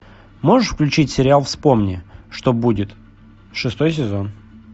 можешь включить сериал вспомни что будет шестой сезон